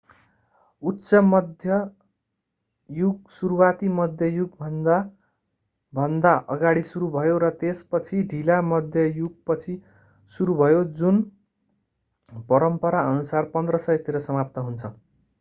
उच्च मध्य युग सुरुवाती मध्य युगभन्दा भन्दा अगाडि सुरु भयो र त्यसपछि ढिला मध्य युगपछि सुरु भयो जुन परम्पराअनुसार 1500 तिर समाप्त हुन्छ